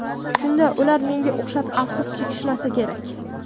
Shunda ular menga o‘xshab afsus chekishmasa kerak.